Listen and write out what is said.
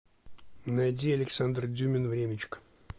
найди александр дюмин времечко